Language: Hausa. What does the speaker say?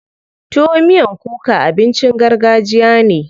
Tuwo miyan kuka abincin gargajiya ne.